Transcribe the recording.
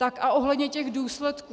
Tak a ohledně těch důsledků.